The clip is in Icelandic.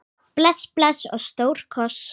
Bless bless og stór koss.